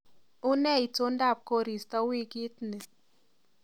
Unee itondab koristo wiikit ni